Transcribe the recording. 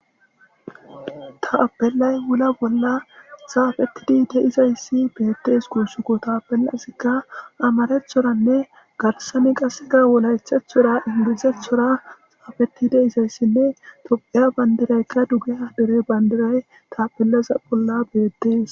Tapelay wula bolla xapetidi de'izayis betes gusuko tapelazi amarathoranee garisaran qasi wolaitathora englizathora xapetizayisinee topheya banidirayika tapelaza bolla betes